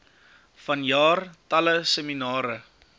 vanjaar talle seminare